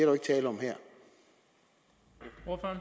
jo ikke tale om her